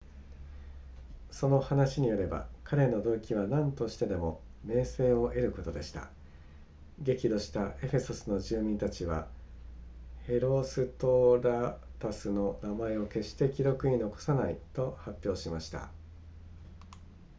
その話によれば彼の動機は何としてでも名声を得ることでした激怒したエフェソスの住民たちはヘロストラタスの名前を決して記録に残さないと発表しました